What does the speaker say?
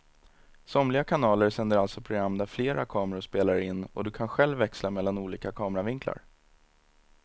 Somliga kanaler sänder alltså program där flera kameror spelar in och du kan själv växla mellan olika kameravinklar.